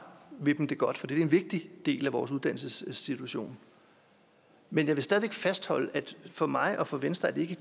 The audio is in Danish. vil dem det godt for det er jo en vigtig del af vores uddannelsesinstitutioner men jeg vil stadig væk fastholde at det for mig og for venstre ikke